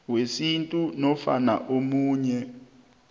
wesintu nofana omunye